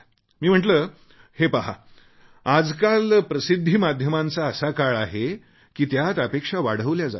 मी म्हटले हे पहा आजकाल प्रसिद्धीमाध्यमांचा असा काळ आहे की त्यात अपेक्षा वाढवल्या जातात